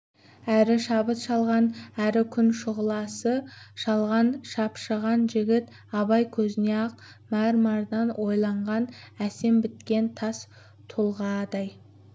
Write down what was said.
әрі шабыт шалған әрі күн шұғыласы шалған шапшыған жігіт абай көзіне ақ мәрмәрдан ойылған әсем біткен тас тұлғадай